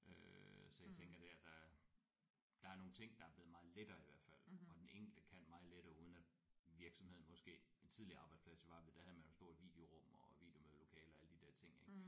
Øh så jeg tænker der der der er nogle ting der er blevet meget lettere i hvert fald og den enkelte kan meget lettere uden at virksomheden måske en tidligere arbejdsplads jeg var ved der havde man jo stort videorum og videomødelokaler alle de der ting ik